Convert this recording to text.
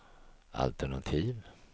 altenativ